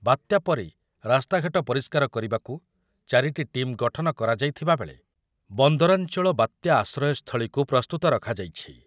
ବାତ୍ୟା ପରେ ରାସ୍ତାଘାଟ ପରିଷ୍କାର କରିବାକୁ ଚାରିଟି ଟିମ୍ ଗଠନ କରାଯାଇଥିବାବେଳେ ବନ୍ଦରାଞ୍ଚଳ ବାତ୍ଯା ଆଶ୍ରୟସ୍ଥଳୀକୁ ପ୍ରସ୍ତୁତ ରଖାଯାଇଛି ।